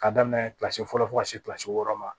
Ka daminɛ kilasi fɔlɔ fo ka se kilasi wɔɔrɔ ma